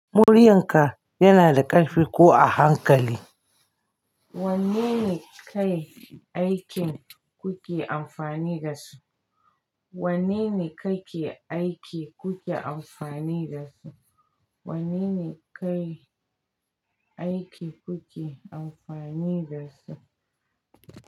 Muryarka yana da ƙarfi ko a hankali? Wannene kai aikin kuke amfani da su? Wanne ne kake aiki kuke amfani da su? Wanne ne kai aiki kuke amfani da su?